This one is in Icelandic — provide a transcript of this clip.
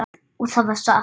Og það var satt.